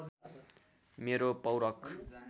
मेरो पौरख